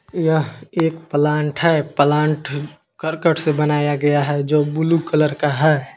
यह एक प्लांट है प्लांट करकट से बनाया गया है जो बुलु कलर है।